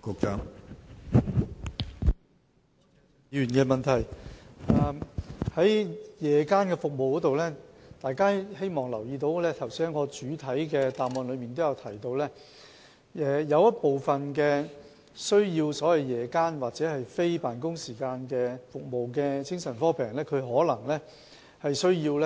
關於夜間覆診服務，希望大家注意一點，我剛才在主體答覆也有提到，有部分需要在夜間或非辦公時間接受服務的精神科病人，可能需要